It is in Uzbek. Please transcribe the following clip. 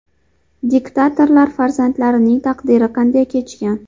Diktatorlar farzandlarining taqdiri qanday kechgan?